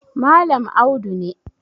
Malam Audu ne